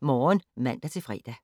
Morgen *(man-fre)